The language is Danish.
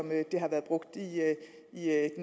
at